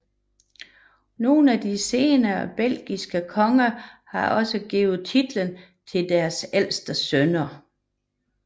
Nogle af de senere belgiske konger har også givet titlen til deres ældste sønner